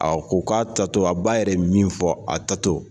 A ko k'a taa tɔ a ba yɛrɛ ye min fɔ a taa tɔ.